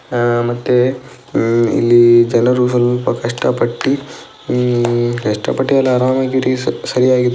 ಆಹ್ಹ್ ಮತ್ತೆ ಹ್ಮ್ಮ್ ಇಲ್ಲಿ ಜನರು ಸ್ವಲ್ಪ ಕಷ್ಟ ಪಟ್ಟಿ ಹ್ಮ್ಮ್ ಕಷ್ಟ ಪಟ್ಟಿ ಅಲ್ಲ --